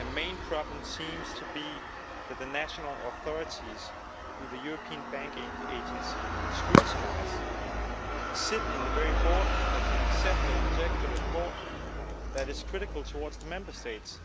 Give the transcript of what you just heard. The main problem seems to be that the national authorities, which the European Banking Authority scrutinises, sit on the very board that can accept or reject the report that is critical of the Member States.